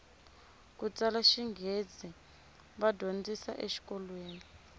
kutsala xinghezi va dyondzisa e xikolweni